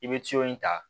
I bɛ in ta